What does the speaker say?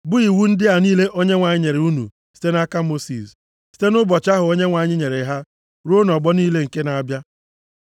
bụ iwu ndị a niile Onyenwe anyị nyere unu site nʼaka Mosis, site nʼụbọchị ahụ Onyenwe anyị nyere ha ruo nʼọgbọ niile nke na-abịa.